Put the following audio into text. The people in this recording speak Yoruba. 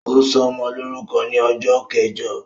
Ó ṣọmọ lórúkọ ni ọjọ́ kẹjọ